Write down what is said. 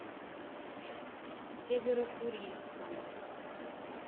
северо курильска